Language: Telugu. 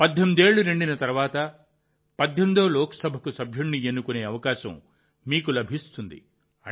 18 ఏళ్లు నిండిన తర్వాత 18వ లోక్సభకు సభ్యుడిని ఎన్నుకునే అవకాశం మీకు లభిస్తుంది